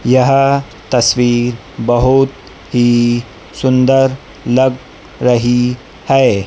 यह तस्वीर बहुत ही सुंदर लग रही है।